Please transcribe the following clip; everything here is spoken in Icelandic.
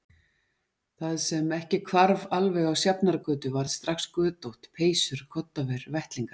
Það sem ekki hvarf alveg á Sjafnargötu varð strax götótt: peysur koddaver vettlingar.